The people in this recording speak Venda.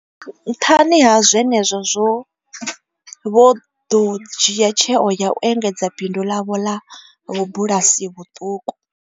Nṱhani ha zwenezwo vho ḓo dzhia tsheo ya u engedza bindu ḽavho ḽa vhubulasi vhuṱuku.